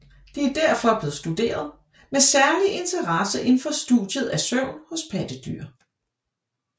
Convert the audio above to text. De er derfor blevet studeret med særlig interesse indenfor studiet af søvn hos pattedyr